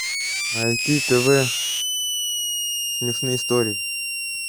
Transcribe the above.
найти тв смешные истории